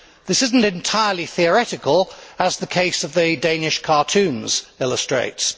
This is not entirely theoretical as the case of the Danish cartoons illustrates.